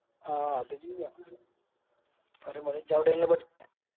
ആ അത് ചെയ്യാ പറയുമ്പോലെ ഇജ്ജ് അവ്ടെയാണല്ലോ പഠിച്ചേ